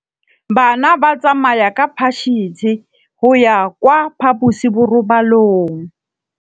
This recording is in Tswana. Bana ba tsamaya ka phašitshe go ya kwa phaposiborobalong.